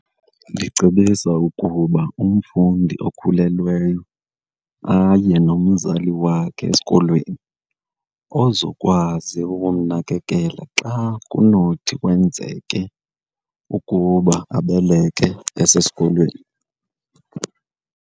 Ndicebisa ukuba umfundi okhulelweyo aye nomzali wakhe esikolweni ozokwazi ukumnakekela xa kunothi kwenzeke ukuba abeleke esesikolweni.